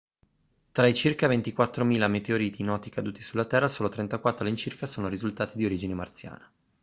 tra i circa 24.000 meteoriti noti caduti sulla terra solo 34 all'incirca sono risultati di origine marziana